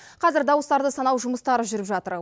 қазір дауыстарды санау жұмыстары жүріп жатыр